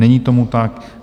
Není tomu tak.